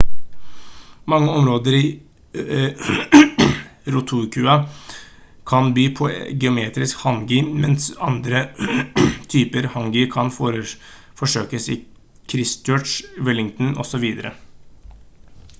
mange områder i rotorua kan by på geotermisk hangi mens andre typer hangi kan forsøkes i christchurch wellington osv